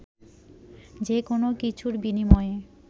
যে কোনো কিছুর বিনিময়ে